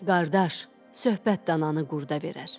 Qardaş, söhbət dananı qurda verər.